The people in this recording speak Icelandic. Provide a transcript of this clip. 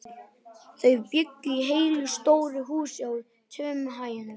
Þau bjuggu í heilu stóru húsi á tveimur hæðum.